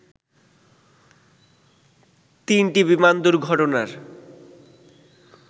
তিনটি বিমান দুর্ঘটনার